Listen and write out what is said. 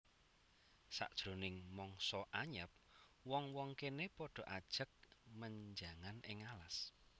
Sajroning mangsa anyep wong wong kéné padha ajag menjangan ing alas